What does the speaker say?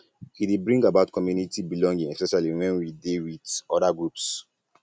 e um dey bring about community belonging especially when we dey with um oda groups